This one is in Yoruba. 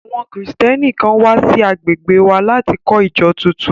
Àwọn Kristẹni kan wà sí agbègbè wa láti kọ́ ìjọ tuntun